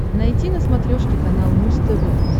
найти на смотрешке канал муз тв